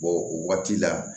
o waati la